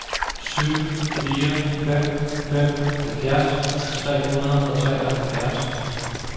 syv fire fem fem halvfjerds tre hundrede og treoghalvfjerds